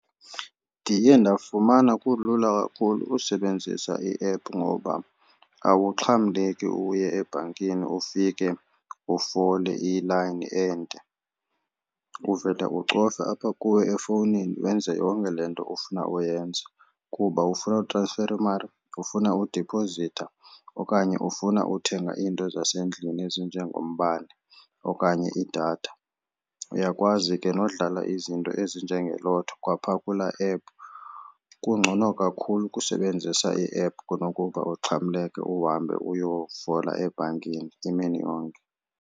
Ndiye ndafumana kulula kakhulu usebenzisa i-app ngoba awuxhamleki uye ebhankini ufike ufole ilayini ende. Uvele ucofe apha kuwe efowunini wenze yonke le nto ofuna uyenza kuba ufuna utransfera imali, ufuna udiphozitha okanye ufuna uthenga into zasendlini ezinjengombane okanye idatha. Uyakwazi ke nodlala izinto ezinjenge-lotto kwaphaa kulaa app. Kungcono kakhulu ukusebenzisa i-app kunokuba uxhamleke uhambe uyofola ebhankini imini yonke.